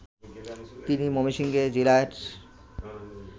তিনি ময়মনসিংহে জেলার